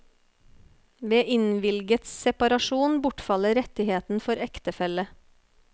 Ved innvilget separasjon bortfaller rettigheten for ektefelle.